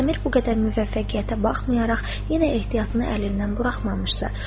Əmir bu qədər müvəffəqiyyətə baxmayaraq yenə ehtiyatını əlindən buraxmamışdı.